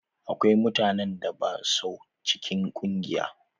Akwai mutanen da ba sua cikin ƙungiya.